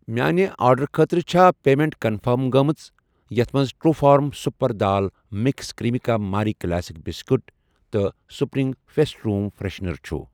میانہِ آرڈرُٕ خٲطرٕ چھا پیمیٚنٹ کنفٔرم گٔمٕژ یتھ مَنٛز ٹروٗفارم super dal mix Cremica Marie classic biscuit تہٕ سپرٛنٛگ فٮ۪سٹ روٗم فرٛٮ۪شنَر چھ؟